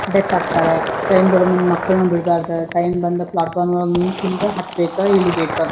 ಬೆಟ್ಟತ್ತರೆ time ಬರು ಮುನ್ನ ಮಕ್ಕಳನ್ನ ಬಿಡ್ಬಾರ್ದ ಟೈಮ್ ಬಂದ್ ಪ್ಲಾಟ್ಫಾರಂ ಒಳಗ್ ನಿಂತಿಂದ ಹತ್ತ್ ಬೇಕ್ ಇಳಿಬೇಕ.